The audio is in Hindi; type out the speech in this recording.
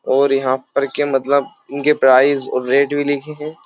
और यहाँ पर के मतलब इनके प्राइज रेट भी लिखे हैं।